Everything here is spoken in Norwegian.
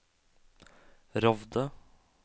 Rovde